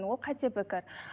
ол қате пікір